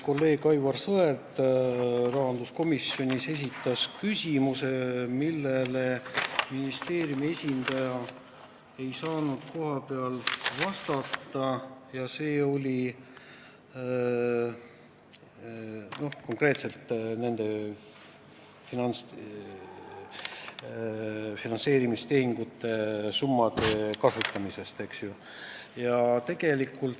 Kolleeg Aivar Sõerd esitas rahanduskomisjonis küsimuse, millele ministeeriumi esindaja ei saanud kohapeal vastata, ja see oli konkreetselt nende summade kasutamise kohta.